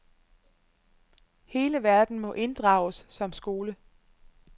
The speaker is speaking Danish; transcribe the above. Hele verden må inddrages som skole.